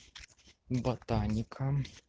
ботаника